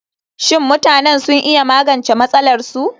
Shin mutanen sun iya magance matsalarsu?